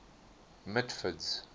mitford's